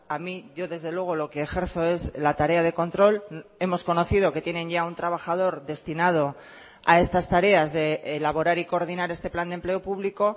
a mí yo desde luego lo que ejerzo es la tarea de control hemos conocido que tienen ya un trabajador destinado a estas tareas de elaborar y coordinar este plan de empleo público